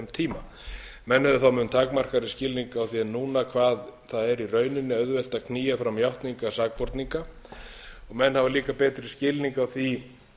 skilning á því en núna hvað það er í rauninni auðvelt að knýja fram játningar sakborninga og menn hafa líka betri skilning á því